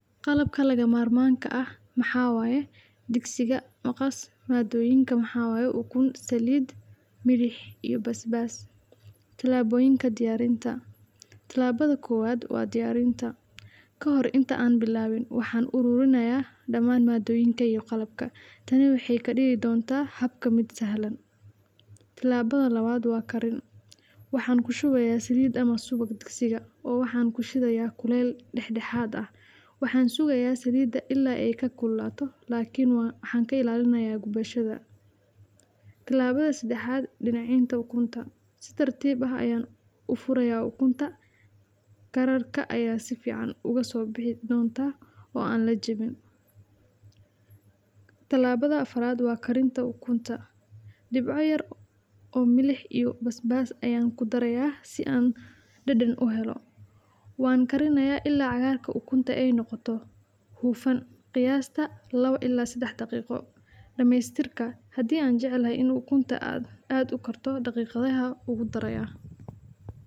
Qalabka laga marmanka ah maxaa waye digsiga, maqaas madoyinka maxaa waye ukuun, saliid, miliix iyo basbas, tilaboyinka diyarinta, tilabada kowaad waa diyarinte, Kahoree inta an bilawiin waxan arurinaya daman madoyinkeyga qalabka, taney wexee kadigi dontaa habka miid sahlan, tilabadha lawaad waa karin, waxan kushuweyaa saliid ama suwaga digsiga, waxan kushideyaa kulel dexdexaad ah, waxan sugeyaa silidaa ila ee kakululato lkn waxan ka ilalineyaa gubasgaada, tilabaada sadaxaad diyarinta ukuntaa, si tar tiib ah ayan ufureya ukuntaa, karaka aya sifiican oga so bixi dontaa o a lakarinin, tilabada afaraad waa karintaa ukuntaa, dibcaa yar o millix iyo basbas ayan kudareyaa si an daden u helo, wan kalineya ila cagarta ukunta ee noqoto hufan, qiyasta lawo ila sadax daqiqa, damestirka hadii an jeclay in ukuntaa aad u karto daqiqadaha ugu darayaa.